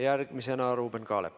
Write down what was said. Järgmisena Ruuben Kaalep.